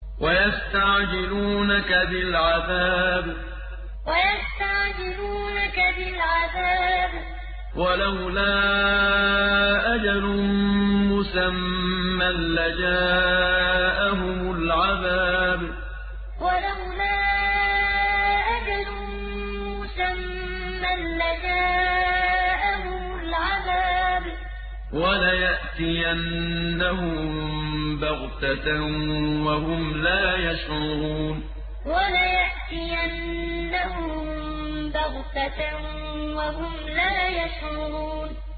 وَيَسْتَعْجِلُونَكَ بِالْعَذَابِ ۚ وَلَوْلَا أَجَلٌ مُّسَمًّى لَّجَاءَهُمُ الْعَذَابُ وَلَيَأْتِيَنَّهُم بَغْتَةً وَهُمْ لَا يَشْعُرُونَ وَيَسْتَعْجِلُونَكَ بِالْعَذَابِ ۚ وَلَوْلَا أَجَلٌ مُّسَمًّى لَّجَاءَهُمُ الْعَذَابُ وَلَيَأْتِيَنَّهُم بَغْتَةً وَهُمْ لَا يَشْعُرُونَ